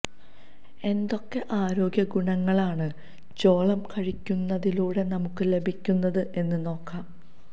എന്തൊക്കെ ആരോഗ്യ ഗുണങ്ങളാണ് ചോളം കഴിക്കുന്നതിലൂടെ നമുക്ക് ലഭിക്കുന്നത് എന്ന് നോക്കാം